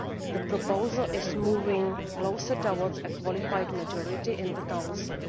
The proposal is moving closer to achieving a qualified majority in the Council.